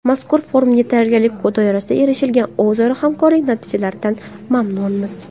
Mazkur forumga tayyorgarlik doirasida erishilgan o‘zaro hamkorlik natijalaridan mamnunmiz.